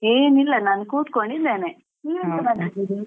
ಏನಿಲ್ಲ ನಾನ್ ಕುತ್ಕೊಂಡಿದ್ದೇನೆ ನೀವ್ ಎಂತ ಮಾಡ್ತಾ ಇದ್ದೀರೀ?